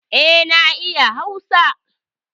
Eh, na iya hausa